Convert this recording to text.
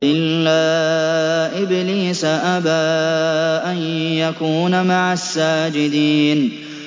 إِلَّا إِبْلِيسَ أَبَىٰ أَن يَكُونَ مَعَ السَّاجِدِينَ